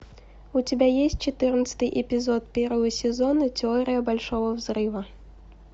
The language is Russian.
у тебя есть четырнадцатый эпизод первого сезона теория большого взрыва